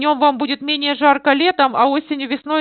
днём вам будет менее жарко летом а осенью весной